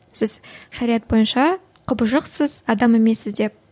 сіз шариғат бойынша құбыжықсыз адам емессіз деп